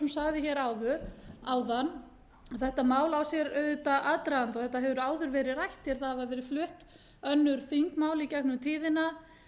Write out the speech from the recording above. sagði hér áðan að þetta mál á sér auðvitað aðdraganda og þetta hefur áður verið rætt hér það hafa verið flutt önnur þingmál í gegnum tíðina